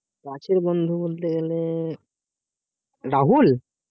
কাছের বন্ধু বলতে গেলে রাহুল?